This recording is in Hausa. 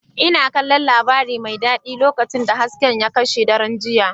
Ina kallon labari mai daɗi lokacin da hasken ya kashe daren jiya.